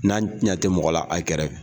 N'a ɲɛ te mɔgɔla a kɛrɛfɛ.